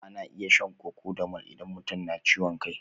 Ana iya shan cocodamol idan mutum na ciwon kai.